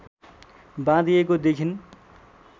बाँधिएको देखिन्